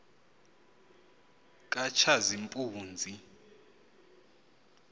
katshazimpunzi